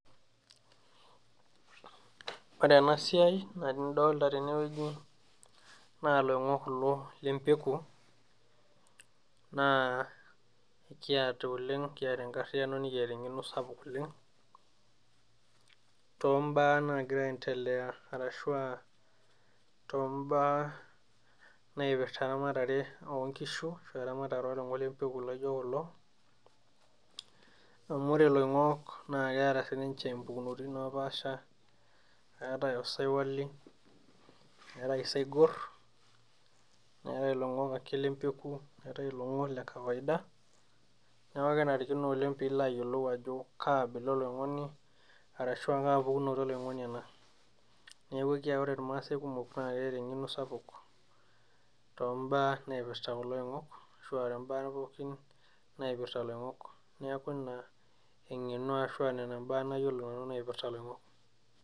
Ore enasiai, ina nidolta tenewoji, naa loing'ok kulo lempeku, naa kiata oleng kiata enkarriyiano nikiata eng'eno sapuk oleng, tombaa nagira aendelea arashua tombaa naipirta eramatare onkishu, ashu eramatare oloing'ok lempeku laijo kulo, amu ore loing'ok na keeta sininche impukunoti napaasha, eetae osaiwoli, eetae isaigor, neetae iloing'ok ake lempeku, neetae iloing'ok lekawaida, neeku kenarikino oleng pilo ayiolou ajo kaa bila oloing'oni, arashu kaa pukunoto oloing'oni ena. Neeku ekia ore irmaasai kumok naa keeta eng'eno sapuk, tombaa naipirta kulo oing'ok, ashua tombaa pookin naipirta loing'ok. Neeku ina eng'eno ashua nena imbaa nayiolo nanu naipirta loing'ok.